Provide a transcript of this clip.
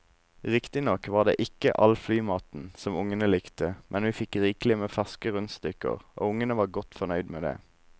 Riktignok var det ikke all flymaten som ungene likte, men vi fikk rikelig med ferske rundstykker og ungene var godt fornøyd med det.